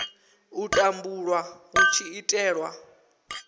u tumbulwa hu tshi itelwa